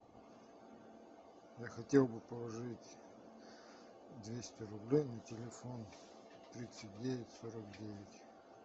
я хотел бы положить двести рублей на телефон тридцать девять сорок девять